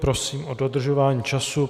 Prosím o dodržování času.